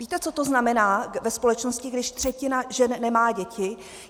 Víte, co to znamená ve společnosti, když třetina žen nemá děti?